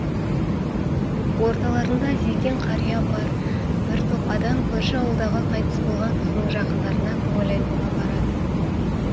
орталарында зекең қария бар бір топ адам көрші ауылдағы қайтыс болған кісінің жақындарына көңіл айтуға барады